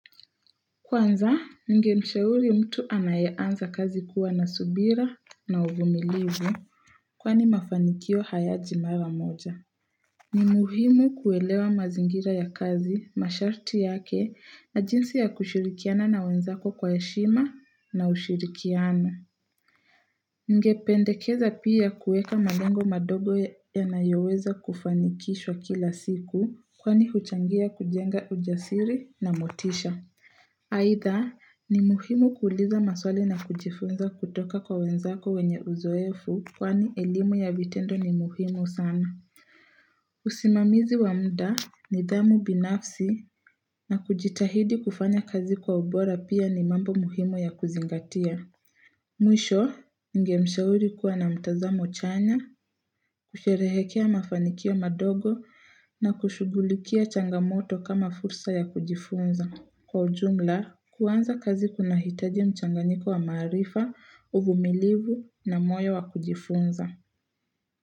Kwanza, ningemshauri mtu anayeanza kazi kuwa na subira na uvumilivu kwani mafanikio hayaji mara moja. Ni muhimu kuelewa mazingira ya kazi, masharti yake na jinsi ya kushirikiana na wenzako kwa heshima na ushirikiano. Ningependekeza pia kuweka malengo madogo yanayoweza kufanikishwa kila siku kwani huchangia kujenga ujasiri na motisha. Aidha ni muhimu kuuliza maswali na kujifunza kutoka kwa wenzako wenye uzoefu kwani elimu ya vitendo ni muhimu sana. Usimamizi wa muda, nidhamu binafsi na kujitahidi kufanya kazi kwa ubora pia ni mambo muhimu ya kuzingatia. Mwisho, ningemshauri kuwa na mtazamo chanya, kusherehekea mafanikio madogo na kushughulikia changamoto kama fursa ya kujifunza. Kwa ujumla, kuanza kazi kunahitaji mchanganyiko wa maarifa, uvumilivu na moyo wa kujifunza.